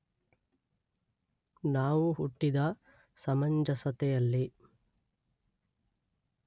ನಾವು ಹುಟ್ಟಿದ ಸಮಂಜಸತೆಯಲ್ಲಿ